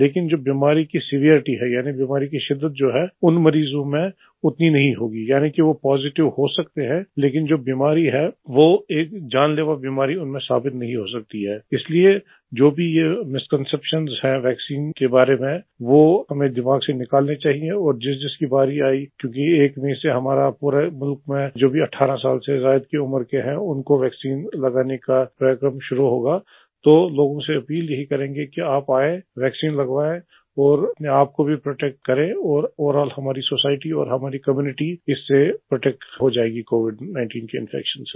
लेकिन जो बीमारी की सेवेरिटी है यानि बीमारी की सिद्दत्त जो है उन मरीज में उतनी नहीं होगी यानि की वो पॉजिटिव हो सकते हैं लेकिन जो बीमारी है वो एक जानलेवा बीमारी उनमें साबित नहीं हो सकती इसलिए जो भी ये मिसकॉन्सेप्शन हैं वैक्सीन के बारे में वो हमें दिमाग से निकालने चाहिए और जिसजिस की बारी आयी क्योंकि 1 मई से हमारे पूरे मुल्क में जो भी 18 साल से ज्यादा की उम्र है उनको वैक्सीन लगाने का कार्यक्रम शुरू होगा तो लोगों से अपील यही करेंगे आप आए वैक्सीन लगवाए और अपने आप को भी प्रोटेक्ट करें और ओवरॉल हमारी सोसाइटी और हमारी कम्यूनिटी इससे प्रोटेक्ट हो जायगी कोविड 19 के इन्फेक्शन से